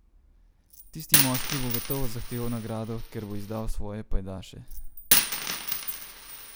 Tisti moški bo gotovo zahteval nagrado, ker bo izdal svoje pajdaše.